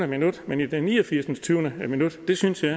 minut men i det ni og firs minut det synes jeg